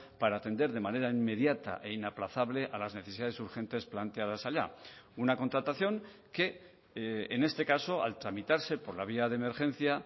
para atender de manera inmediata e inaplazable a las necesidades urgentes planteadas allá una contratación que en este caso al tramitarse por la vía de emergencia